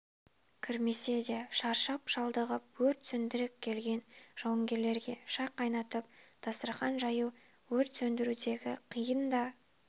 кірмесе де шаршап-шалдығып өрт сөндіріп келген жауынгерлерге шай қайнатып дастархан жаю өрт сөндірудегі қиын да